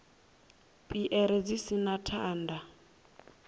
piere dzi si na thanda